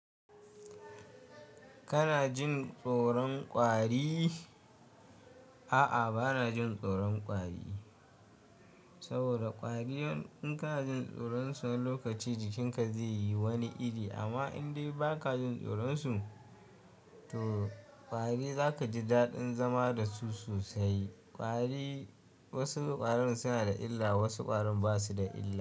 Kana jin tsoron ƙwari? A'a, ba na jin tsoron ƙwari saboda ƙwari idan kana jin tsoron su wani lokaci jikinka zai yi wani iri. Amma in dai ba ka jin tsoron su, to ƙwari za ka ji daɗin zama da su sosai. Ƙwari wasu ƙwarin suna da illa, wasu ƙwarin ba su da illa.